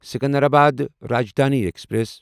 Secunderabad Rajdhani express